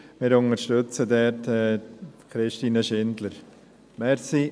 Wir unterstützen dort Christine Schindler.